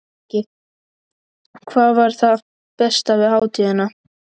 Breki: Hvað var það besta við hátíðina?